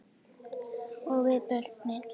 Og við börnin.